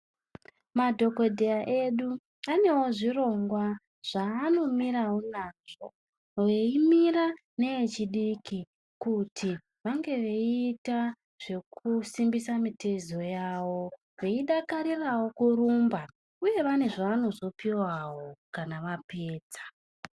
Madhogodheya edu vanewo zvirongwa zvaanomirawo nazvo, veimira nevechidiki kuti vange veiita zvekusimbisa mitezo yavo. Veidakarirawo kurumba uye pane zvavanozopuwawo kana vapedza.